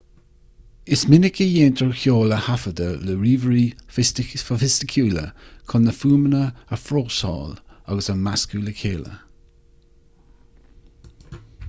is minic a dhéantar ceol a thaifeadadh le ríomhairí sofaisticiúla chun na fuaimeanna a phróiseáil agus a mheascadh le chéile